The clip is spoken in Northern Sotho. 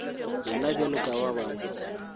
yena bjalo ka ba bangwe